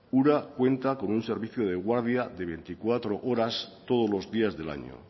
ura cuenta con un servicio de guardia de veinticuatro horas todos los días del año